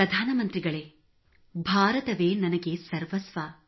ಪ್ರಧಾನಮಂತ್ರಿಗಳೇ ಭಾರತವೇ ನನಗೆ ಸರ್ವಸ್ವ